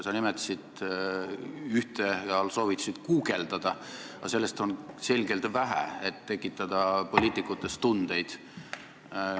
Sa nimetasid ühte ja soovitasid guugeldada, aga sellest on selgelt vähe, et poliitikutes tundeid tekitada.